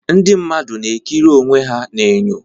Ndị mmadụ na-ekiri onwe ha n'enyo.